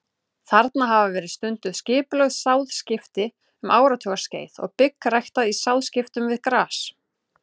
Þarna hafa verið stunduð skipulögð sáðskipti um áratugaskeið og bygg ræktað í sáðskiptum við gras.